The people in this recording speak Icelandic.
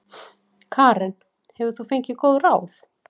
Karen: Hefur þú fengið góð ráð?